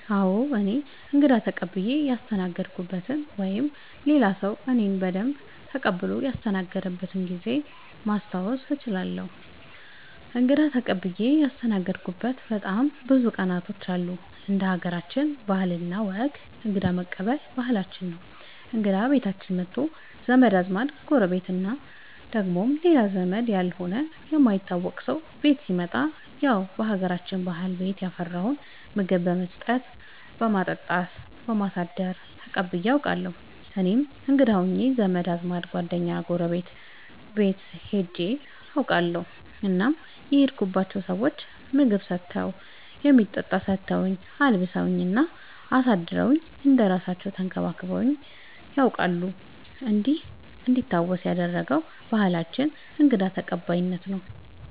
አዎ እኔ እንግዳ ተቀብየ ያስተናገድኩበት ወይም ሌላ ሰዉ እኔን በደንብ ተቀብሎ ያስተናገደበት ጊዜ ማስታወስ እችላለሁ። እንግዳ ተቀብዬ ያስተናገድሁበት በጣም ብዙ ቀናቶች አሉ እንደ ሀገራችን ባህል እና ወግ እንግዳ መቀበል ባህላችን ነው እንግዳ ቤታችን መቶ ዘመድ አዝማድ ጎረቤት እና ደግሞ ሌላ ዘመድ ያልሆነ የማይታወቅ ሰው ቤት ሲመጣ ያው በሀገራችን ባህል ቤት ያፈራውን ምግብ በመስጠት በማጠጣት በማሳደር ተቀብዬ አውቃለሁ። እኔም እንግዳ ሆኜ ዘመድ አዝማድ ጓደኛ ጎረቤት ቤት ሄጄ አውቃለሁ እናም የሄድኩባቸው ሰዎች ምግብ ሰተውኝ የሚጠጣ ሰተውኝ አልብሰውኝ እና አሳድረውኝ እንደ እራሳለው ተንከባክበውኝ ነያውቃሉ እንዲህ እንዲታወስ ያደረገ ባህላችንን እንግዳ ተቀባይነት ነው።